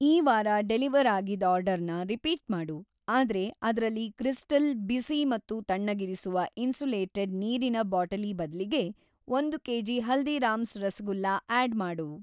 ಈ ವಾರ ಡೆಲಿವರ್‌ ಆಗಿದ್‌ ಆರ್ಡರ್‌ನ ರಿಪೀಟ್‌ ಮಾಡು, ಆದ್ರೆ ಅದ್ರಲ್ಲಿ ಕ್ರಿಸ್ಟಲ್‍ ಬಿಸಿ ಮತ್ತು ತಣ್ಣಗಿರಿಸುವ ಇನ್ಸುಲೇಟೆಡ್‌ ನೀರಿನ ಬಾಟಲಿ ಬದ್ಲಿಗೆ ಒಂದು ಕೆ.ಜಿ. ಹಲ್ದೀರಾಮ್ಸ್ ರಸಗುಲ್ಲ ಆಡ್‌ ಮಾಡು.